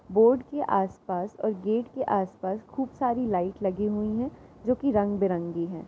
Board के आस-पास और गेट के आस-पास खूब सारी लाइट लगी हुई है जो कि रंग बिरंगी हैं ।